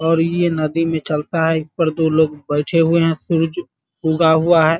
और ये नदी में चलता है | इस पर दो लोग बैठे हुए हैं सूर्य उगा हुआ है ।